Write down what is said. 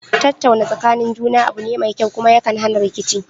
Tattauna tsakanin juna abu ne mai kyau, kuma ya kan hana rikici